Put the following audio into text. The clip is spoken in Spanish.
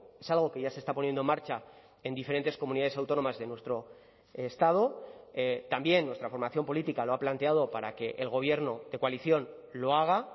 es algo que ya se está poniendo en marcha en diferentes comunidades autónomas de nuestro estado también nuestra formación política lo ha planteado para que el gobierno de coalición lo haga